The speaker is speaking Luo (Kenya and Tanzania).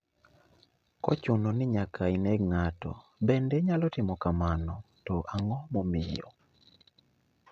Kochuno ni nyaka ineg ng'ato bende inyalo timo kano to ang'o momiyo